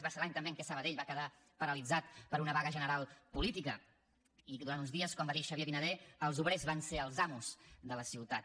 va ser l’any també en què sabadell va quedar paralitzat per una vaga general política i durant uns dies com va dir xavier vinader els obrers van ser els amos de la ciutat